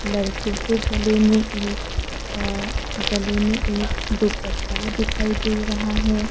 लड़की के गले में एक अ गले में एक दुपट्टा दिखाई दे रहा है।